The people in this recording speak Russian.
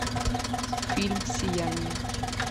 фильм сияние